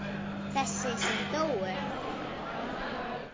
Þessi sem dóu?